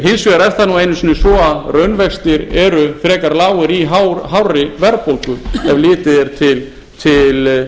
hins vegar er það nú einu sinnis á að raunvextir eru frekar lágir í hárri verðbólgu ef litið er til stýrivaxtanna